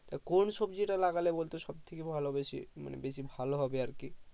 আহ কোন সবজি তা লাগালে বলতো সবথেকে ভালো বেশি মানে বেশি ভালো হবে আরকি